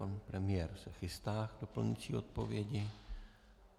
Pan premiér se chystá k doplňující odpovědi.